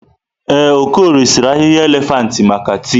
Ee, Okorie sịrị ahịhịa elefantị maka tii.